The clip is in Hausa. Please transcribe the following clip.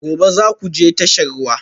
Gobe ​​za ku je tashar ruwa?